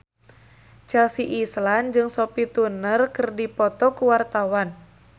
Chelsea Islan jeung Sophie Turner keur dipoto ku wartawan